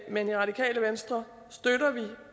men i radikale venstre støtter vi